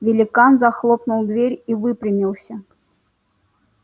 великан захлопнул дверь и выпрямился